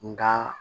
Nka